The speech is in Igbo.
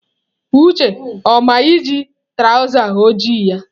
Uche ọ ma na ị ji traụza ojii ya?